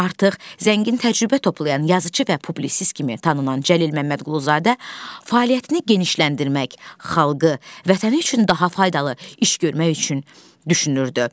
Artıq zəngin təcrübə toplayan yazıçı və publisist kimi tanınan Cəlil Məmmədquluzadə fəaliyyətini genişləndirmək, xalqı, vətəni üçün daha faydalı iş görmək üçün düşünürdü.